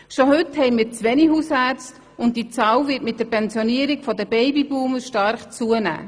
Schon heute haben wir zu wenige Hausärzte, und dieser Mangel wird mit der Pensionierung der Babyboomer stark zunehmen.